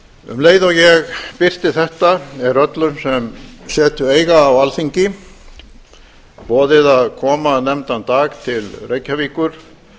um leið og ég birti þetta er öllum sem setu eiga á alþingi boðið að koma nefndan dag til reykjavíkur